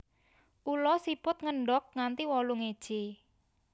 Ula siput ngendog nganti wolung iji